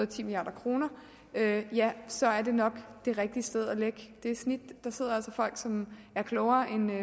ti milliard kroner ja ja så er det nok det rigtige sted at lægge det snit der sidder altså folk som er klogere end